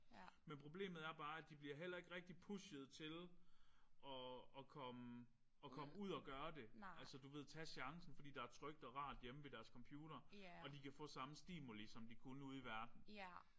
Men problemet er bare at de bliver heller ikke rigtig pushet til at at komme at komme ud og gøre det altså du ved tage chancen fordi der er trygt og rart hjemme ved deres computere og de kan få samme stimuli som de kunne ude i verden